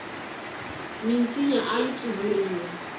minsinya ayi tsuvuriwi